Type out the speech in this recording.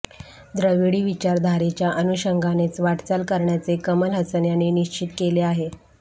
द्रविडी विचारधारेच्या अनुषंगानेच वाटचाल करण्याचे कमल हसन यांनी निश्चित केले आहे